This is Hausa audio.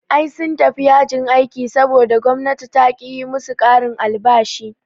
Ai sun tafi yajin aiki saboda gwamnati taƙi yi musu ƙarin albashi